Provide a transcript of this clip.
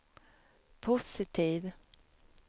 positiv